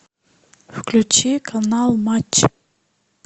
включи канал матч